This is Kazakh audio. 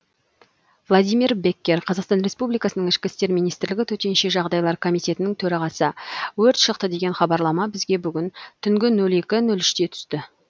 владимир беккер қазақстан республикасының ішкі істер министрлігінің төтенше жағдайлар комитетінің төрағасы өрт шықты деген хабарлама бізге бүгін түнгі нөл екі үште түсті